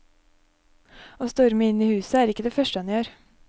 Å storme inn i huset er ikke det første han gjør.